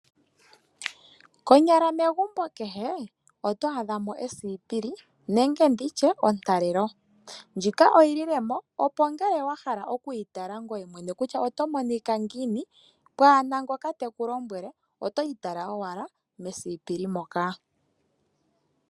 Konyala megumbo kehe otwaadha mo esipili nenge ontalelo. Ndjika oyililemo opo ngele wahala okwiitala ngoye mwene kutya oto monika ngiini pwaana ngoka teku lombwele, otwiitala owala mesipili moka.